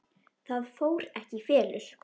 Það fór ekki í felur.